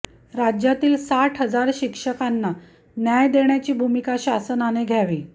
राज्यातील साठ हजार शिक्षकांना न्याय देण्याची भूमिका शासनाने घ्यावी